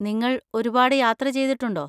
നിങ്ങൾ ഒരുപാട് യാത്ര ചെയ്തിട്ടുണ്ടോ?